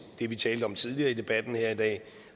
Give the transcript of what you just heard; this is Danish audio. det vi talte om tidligere i debatten her i dag